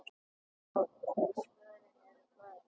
Og svörin eru mörg.